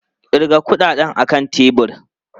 Ƙirga kuɗinka a kan tebur!